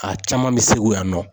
A caman bɛ Segu yan nɔ.